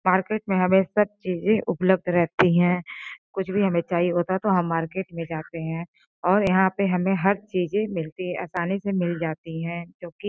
Market में हमें सब चीजें उपलब्ध रहती हैं। कुछ भी हमें चाहिए होता तो हम मार्केट में जाते हैं और यहां पे हमें हर चीजें मिलती आसानी से मिल जाती है जो कि --